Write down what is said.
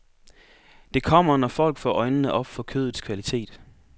Det kommer, når folk får øjnene op for kødets kvalitet.